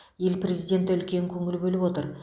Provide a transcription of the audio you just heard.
ел президенті үлкен көңіл бөліп отыр